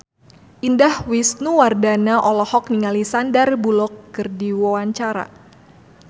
Indah Wisnuwardana olohok ningali Sandar Bullock keur diwawancara